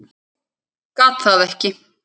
Gat það ekki.